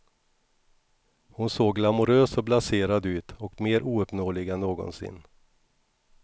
Hon såg glamorös och blaserad ut och mer ouppnåelig än någonsin.